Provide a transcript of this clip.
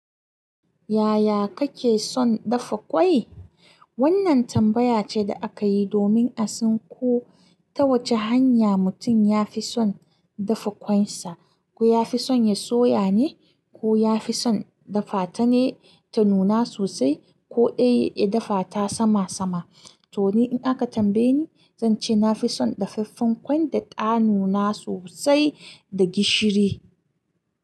Yaya kake son dafa ƙwai? Wannan tambaya ce da aka yi domin a san ko ta wace hanya mutum ya fi son dafa ƙwansa. Ko ya fi son ya soya ne, ko ya fi son dafa ta ne ta nuna sosai, ko dai ya dafa ta sama sama. To ni in aka tambaye ni, zan ce na fi son dafaffen ƙwai da ta nuna sosai da gishiri.